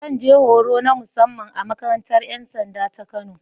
Zan je horo na musamman a makarantar ‘yan sanda ta Kano.